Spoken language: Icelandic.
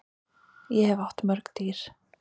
Ég hef átt mörg dýr.